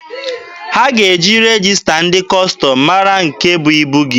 A ga-eji regista ndị Kọstọm mara nke bụ ibu gị.